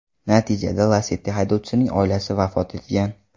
Natijada Lacetti haydovchisining oilasi vafot etgan.